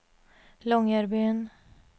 Longyearbyen